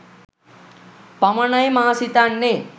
පමණයි මා සිතන්නේ